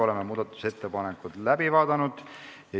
Oleme muudatusettepanekud läbi vaadanud.